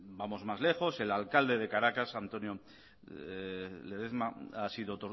vamos más lejos el alcalde de caracas antonio ledezma ha sido